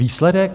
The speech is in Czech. Výsledek?